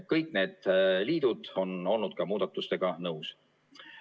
Kõik need liidud on olnud ka muudatustega nõus.